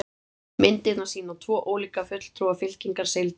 myndirnar sýna tvo ólíka fulltrúa fylkingar seildýra